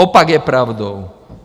Opak je pravdou.